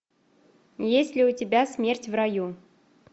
есть ли у тебя смерть в раю